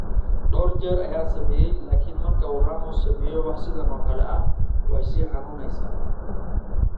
Dhowr jeer ayaan sameeyay laakiin marka uu Ramos sameeyo wax sidan oo kale ah, way sii xanuunaysaa.